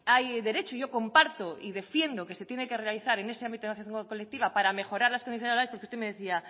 hay derecho y yo comparto y defiendo que se tiene que realizar en ese ámbito de asociación colectiva para mejorar las condiciones laborales porque usted me decía